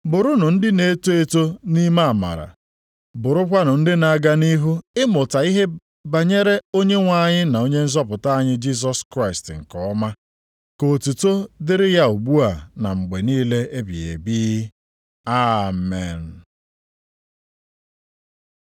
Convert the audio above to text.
Bụrụnụ ndị na-eto eto nʼime amara. Bụrụkwanụ ndị na-aga nʼihu ịmụta ihe banyere Onyenwe anyị na Onye nzọpụta anyị Jisọs Kraịst nke ọma. Ka otuto dịrị ya ugbu a na mgbe niile ebighị ebi. Amen.